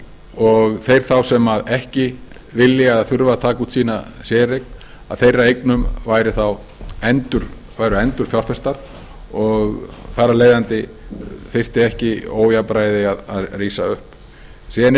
og þeir þá sem ekki viljað taka út sína séreign þeirra eignum væri þá endurfjárfestar og þar af leiðandi yrfti ekki ójafnvægi að rísa upp síðan er